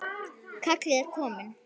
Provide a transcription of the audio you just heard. Kallið er komið.